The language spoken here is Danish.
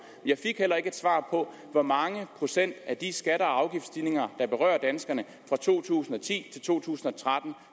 jeg fik heller ikke svar på hvor mange procent af de skatte og afgiftsstigninger der berører danskerne fra to tusind og ti til to tusind og tretten